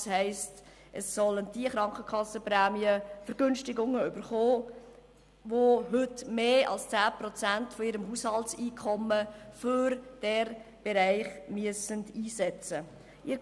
Das heisst, diejenigen sollen Krankenkassenprämienverbilligungen erhalten, die heute mehr als 10 Prozent ihres Haushalteinkommens für diesen Bereich einsetzen müssen.